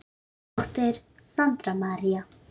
Þín dóttir Sandra María.